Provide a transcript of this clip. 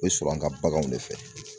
O bɛ sɔrɔ an ka baganw de fɛ.